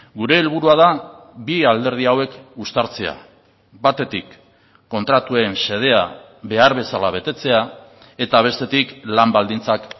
gure helburua da bi alderdi hauek uztartzea batetik kontratuen xedea behar bezala betetzea eta bestetik lan baldintzak